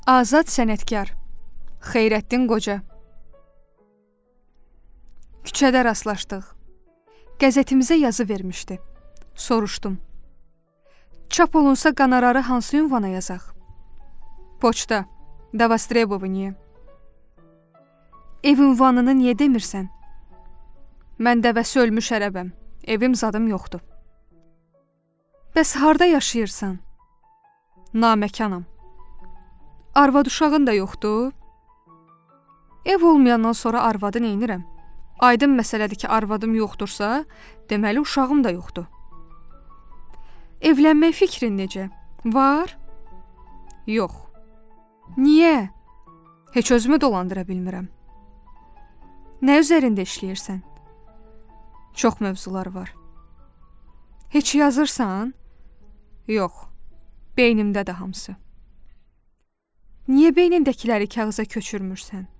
Niyə beynindəkiləri kağıza köçürmürsən?